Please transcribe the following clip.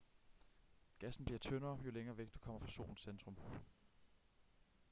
gassen bliver tyndere jo længere væk du kommer fra solens centrum